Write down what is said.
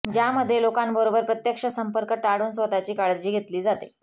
ज्यामध्ये लोकांबरोबर प्रत्यक्ष संपर्क टाळून स्वतःची काळजी घेतली जाते